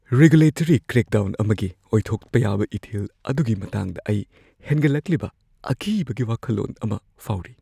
Regulatory crackdown ꯑꯃꯒꯤ ꯑꯣꯏꯊꯣꯛꯄ ꯌꯥꯕ ꯏꯊꯤꯜ ꯑꯗꯨꯒꯤ ꯃꯇꯥꯡꯗ ꯑꯩ ꯍꯦꯟꯒꯠꯂꯛꯂꯤꯕ ꯑꯀꯤꯕꯒꯤ ꯋꯥꯈꯜꯂꯣꯟ ꯑꯃ ꯐꯥꯎꯔꯤ꯫